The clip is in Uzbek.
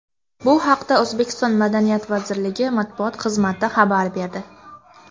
Bu haqda O‘zbekiston madaniyat vazirligi matbuot xizmati xabar berdi.